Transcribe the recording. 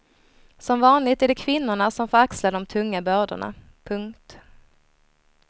Som vanligt är det kvinnorna som får axla de tunga bördorna. punkt